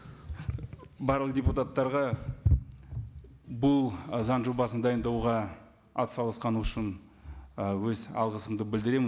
барлық депутаттарға бұл заң жобасын дайындауға атсалысқаны үшін і өз алғысымды білдіремін